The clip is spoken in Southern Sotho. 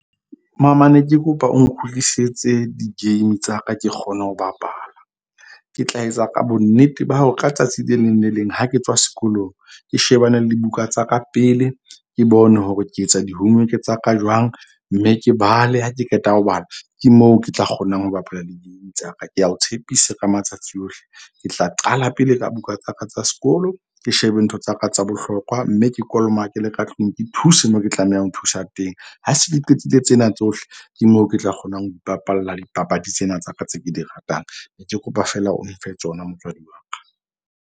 Mama ne ke kopa o nkgutlisetse di-game tsa ka ke kgone ho bapala. Ke tla etsa ka bonnete ba hore ka tsatsi le leng le leng ha ke tswa sekolong ke shebane le dibuka tsa ka pele. Ke bone hore ke etsa di-homework tsa ka jwang. Mme ke bale ha ke qeta ho bala. Ke moo ke tla kgonang ho bapala di-game tsa ka. Ke a o tshepisa ka matsatsi ohle. Ke tla qala pele ka buka tsa ka tsa sekolo. Ke shebe ntho tsa ka tsa bohlokwa. Mme ke kolomakele le ka tlung ke thuse moo ke tlamehang ho thusa teng. Ha se ke qetile tsena tsohle, ke moo ke tla kgonang ho ipapalla dipapadi tsena tsa ka tse ke di ratang. Ne ke kopa feela o mfe tsona motswadi wa ka.